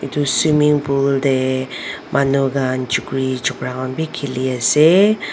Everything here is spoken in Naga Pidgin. swimming pool tae manu khan chukri chukra khan bi khiliase.